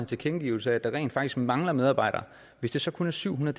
tilkendegivelse af at der rent faktisk mangler medarbejdere hvis det så kun er syv hundrede